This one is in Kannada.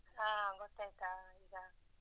ಹಾ ಗೊತ್ತಾಯ್ತಾ ಈಗ?